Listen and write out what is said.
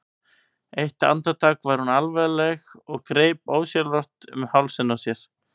Eitt andartak var hún alvarleg og greip ósjálfrátt um hálsinn á sér.